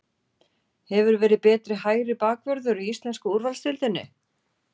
Hefur verið betri hægri bakvörður í ensku úrvalsdeildinni?